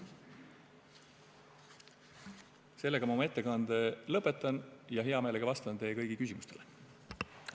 Sellega ma oma ettekande lõpetan ja hea meelega vastan teie kõigi küsimustele.